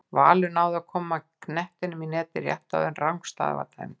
Valur náði að koma knettinum í netið rétt áðan en rangstaða var dæmd.